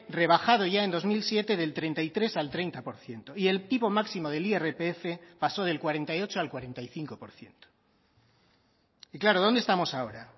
rebajado ya en dos mil siete del treinta y tres al treinta por ciento y el tipo máximo del irpf pasó del cuarenta y ocho al cuarenta y cinco por ciento y claro dónde estamos ahora